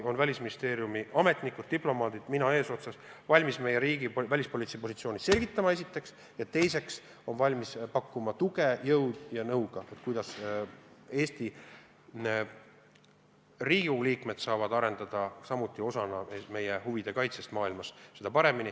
Välisministeeriumi ametnikud, diplomaadid ja mina eesotsas oleme valmis meie riigi välispoliitilist positsiooni selgitama, seda esiteks, ja teiseks, me oleme valmis pakkuma tuge jõu ja nõuga, kuidas Riigikogu liikmedki saavad oma panuse anda.